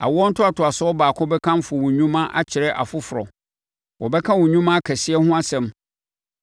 Awoɔ ntoatoasoɔ baako bɛkamfo wo nnwuma akyerɛ ɔfoforɔ; wɔbɛka wo nnwuma akɛseɛ ho asɛm.